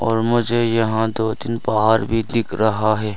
और मुझे यहां दो तीन पहाड़ भी दिख रहा है।